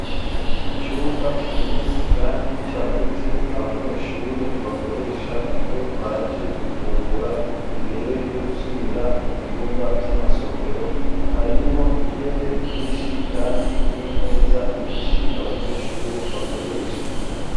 Icumba kinini kandi cyagutse abanyeshure bakoresha iyo baje gufungura imbere yo gusubira mu byumba by'amasomero harimwo intebe nyinshi kandi n'imeza nyinshi abanyeshure bakoresha.